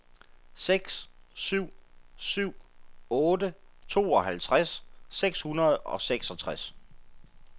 seks syv syv otte tooghalvtreds seks hundrede og seksogtres